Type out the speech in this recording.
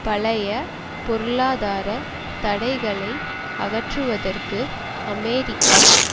பழைய பொருளாதார தடைகளை அகற்றுவதற்கு அமெரிக்கா